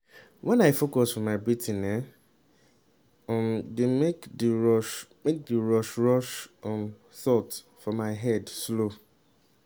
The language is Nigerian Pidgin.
when i focus for my breathing e um dey make d rush make d rush rush um thought for my head slow